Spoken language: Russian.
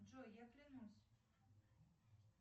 джой я клянусь